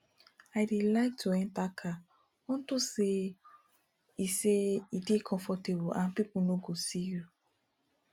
i dey like to enter car unto say e say e dey comfortable and people no go see you